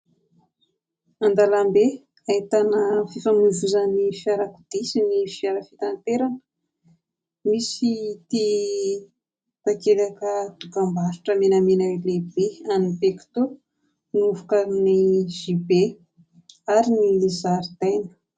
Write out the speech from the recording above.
An-dalambe ahitana fifamoivoizan'ny fiarakodia sy ny fiara fitanterana. Misy ity takelaka an-dokam-barotra menamena lehibe an'ny "pecto" novokarin'ny "JB" ary ny zaridaina.